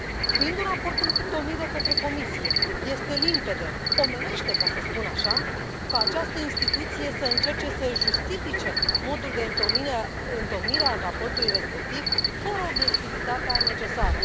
Fiind un raport întocmit de către Comisie este limpede, omenește, ca să spun așa, ca această instituție să încerce să justifice modul de întocmire a raportului respectiv fără obiectivitatea necesară.